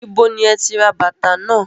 Ibo ni ẹ ti ra bàtà náà?